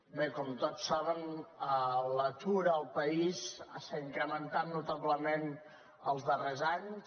bé com tots saben l’atur al país s’ha incrementat notablement els darrers anys